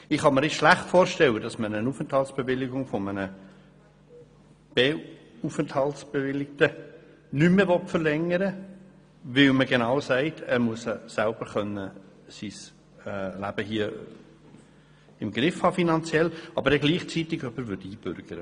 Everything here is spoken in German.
Ich kann mir schlecht vorstellen, dass man eine Aufenthaltsbewilligung eines B-Aufenthaltsbewilligten nicht mehr verlängern will, weil man genau sagt, er müsse sein Leben hier selber finanziell im Griff haben, aber gleichzeitig jemanden einbürgert, der dies nicht erfüllt.